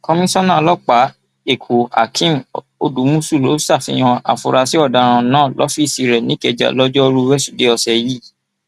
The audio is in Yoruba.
komisanna ọlọpàá ẹkọhakeem odúmọṣù ló ṣàfihàn àfurasí ọdaràn náà lọfíìsì rẹ nìkẹjà lọjọrùú wẹsódùẹ ọsẹ yìí